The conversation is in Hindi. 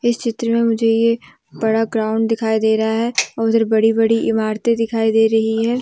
इस चित्र में मुझे एक बड़ा ग्राउंड दिखाई दे रहा है उधर बड़ी बड़ी इमारतें दिखाई दे रही हैं।